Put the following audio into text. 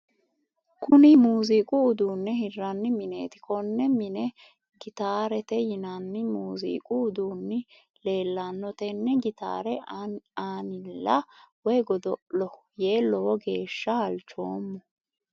Kunni muuziiqu uduunne hiranni mineeti. Konne minne gitaarete yinnanni muuziiqu uduunni leelano. Tene gitaare annila woyi godo'lo yee lowo geesha halchoomo.